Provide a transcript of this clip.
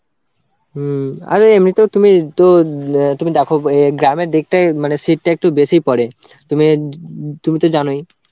হম আরে এমনিতেও তুমি তো তুমি দেখো গ্রামের দিকটাই মানে শীত টা একটু বেশিই পড়ে. তুমি উম তুমি তো জানোই.